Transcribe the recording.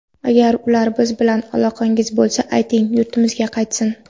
Agar ular bilan aloqangiz bo‘lsa, ayting, yurtimizga qaytsin.